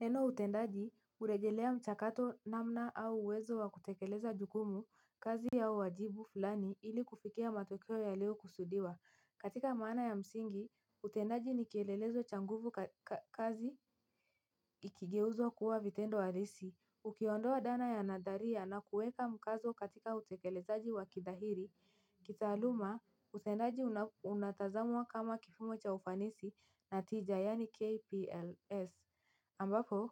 Neno utendaji huregelea mchakato namna au uwezo wa kutekeleza jukumu kazi ya wajibu fulani ili kufikia matokeo ya leo kusudiwa katika maana ya msingi utendaji ni kielelezo cha nguvu kazi ni kigeuzo kuwa vitendo halisi. Ukiondoa dana ya nadharia na kueka mkazo katika utekelezaji wa kidhahiri, kitaaluma, usendaji unatazamwa kama kifumo cha ufanisi na tija yani KPLS. Ambapo,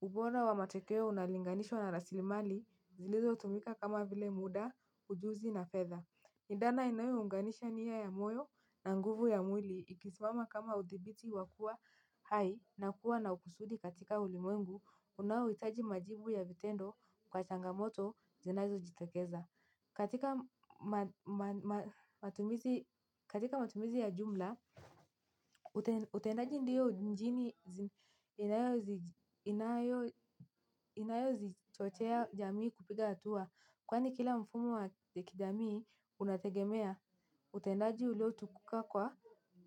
ubora wa matekeo unalinganishwa na rasilimali, zilizotumika kama vile muda, ujuzi na fedha. Ni dana inayounganisha nia ya moyo na nguvu ya mwili ikisimama kama uthibiti wa kuwa hai na kuwa na ukusudi katika ulimwengu unaohitaji majibu ya vitendo kwa changamoto zinazojitokeza. Katika matumizi ya jumla, utendaji ndiyo njini inayozichochea jamii kupiga hatua. Kwani kila mfumo wa kijamii unategemea utendaji uliotukuka kwa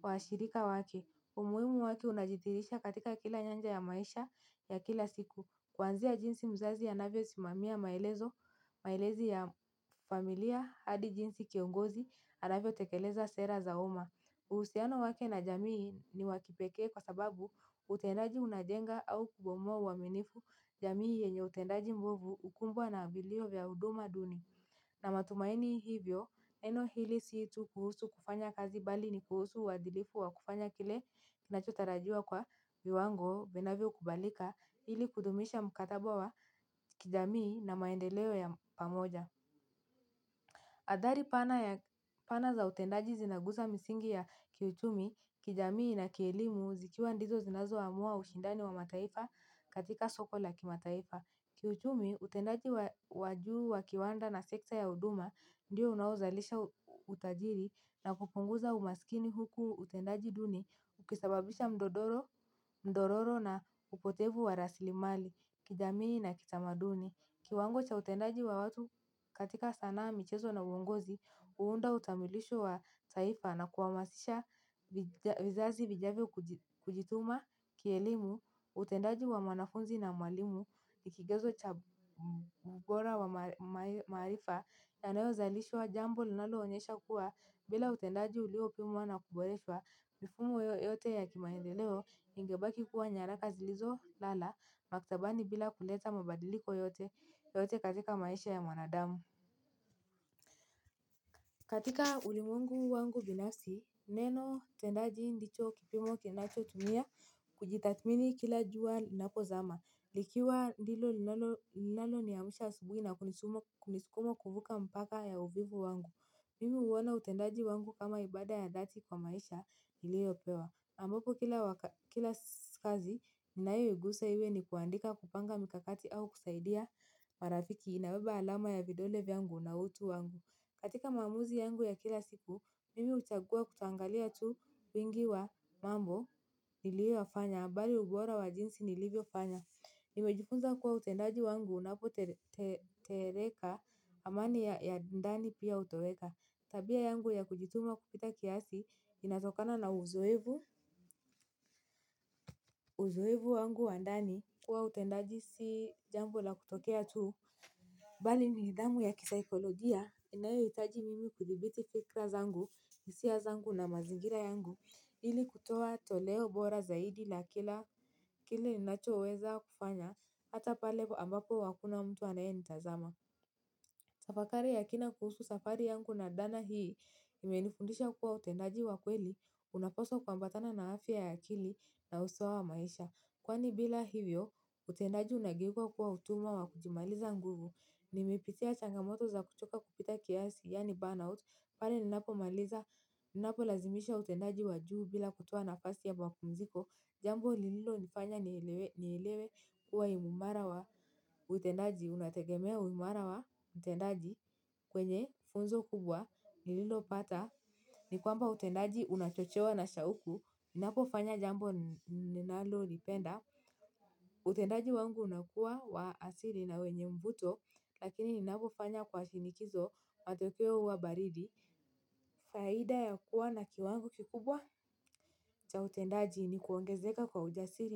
washirika wake. Umuhimu wake unajitirisha katika kila nyanja ya maisha ya kila siku. Kwanzia jinsi mzazi anavyosimamia maelezo, maelezi ya familia hadi jinsi kiongozi anavyo ekeleza sera za uma. Uhusiano wake na jamii ni wakipekee kwa sababu utendaji unajenga au kubomoa uaminifu jamii yenye utendaji mbovu ukumbwa na vilio vya huduma duni. Na matumaini hivyo, neno hili sii tu kuhusu kufanya kazi bali ni kuhusu wadilifu wa kufanya kile kinachotarajua kwa viwango vinavyo kubalika hili kudumisha mkataba wa kijamii na maendeleo ya pamoja. Adhari pana ya pana za utendaji zinaguza misingi ya kiuchumi, kijamii na kielimu zikiwa ndizo zinazoamua ushindani wa mataifa katika soko la kimataifa. Kiuchumi utendaji wa juu wa kiwanda na sekta ya huduma ndiyo unaozalisha utajiri na kupunguza umaskini huku utendaji duni ukisababisha mdororo dororo na upotevu wa raslimali kijamii na kitamanduni. Kiwango cha utendaji wa watu katika sanaa michezo na uongozi, uunda utamilisho wa taifa na kuhamasisha vizazi vijavyo kujituma, kielimu, utendaji wa manafunzi na mwalimu, ni kigezo cha ubora wa maarifa, yanayozalishwa jambo linaloonyesha kuwa, bila utendaji uliopimwa na kuboreshwa, mifumo yote ya kimaendeleo, ingebaki kuwa nyaraka zilizolala, maktabani bila kuleta mabadiliko yote, yote katika maisha ya mwanadamu. Katika ulimwengu wangu binafsi, neno tendaji ndicho kipimo kinachotumia kujitathmini kila jua linapozama. Likiwa dilo linalo niamsha asubuhi na kunisumo kunisukuma kuvuka mpaka ya uvivu wangu. Mimi huona utendaji wangu kama ibada ya dhati kwa maisha iliyopewa ambapo kila kazi, ninayoguusa iwe ni kuandika kupanga mikakati au kusaidia marafiki inaweba alama ya videole vyangu na utu wangu. Katika maaumizi yangu ya kila siku mimi huchagua kutoangalia tu wingi wa mambo niliyoyafanya bali ubora wa jinsi nilivyofanya nimejifunza kuwa utendaji wangu unapotereka amani ya ndani pia hutoreka. Tabia yangu ya kujituma kupita kiasi inatokana na uzoevu. Uzoevu wangu wa ndani kuwa utendaji si jambo la kutokea tu. Bali ni nidhamu ya kisaikolojia. Inayohitaji mimi kuthibiti fikra zangu, hisia zangu na mazingira yangu. Ili kutoa toleo bora zaidi la kila kile ninachoweza kufanya hata pale ambapo hakuna mtu anayenitazama tafakari ya kina kuhusu safari yangu na dhana hii imenifundisha kuwa utendaji wa kweli unapaswa kuambatana na afya ya akili na usawa wa maisha. Kwani bila hivyo, utendaji unageuka kuwa utumwa wa kujimaliza nguvu, nimepitia changamoto za kuchoka kupita kiasi, yani burnout, pale ninapomaliza, ninapolazimisha utendaji wa juu bila kutoa nafasi ya mapumziko, jambo lililo nifanya nielewe kuwa imara wa utendaji, unategemea uimara wa utendaji kwenye funzo kubwa, nililopata, ni kwamba utendaji unachochewa na shauku, ninapofanya jambo ninalolipenda, utendaji wangu unakuwa wa asili na wenye mvuto lakini ninapofanya kwa shinikizo matokeo huwa baridi faida ya kuwa na kiwango kikubwa cha utendaji ni kuongezeka kwa ujasili na.